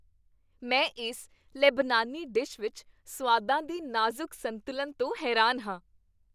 ਮੈਂ ਇਸ ਲੇਬਨਾਨੀ ਡਿਸ਼ ਵਿੱਚ ਸੁਆਦਾਂ ਦੇ ਨਾਜ਼ੁਕ ਸੰਤੁਲਨ ਤੋਂ ਹੈਰਾਨ ਹਾਂ।